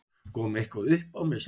Kom eitthvað uppá með samninginn?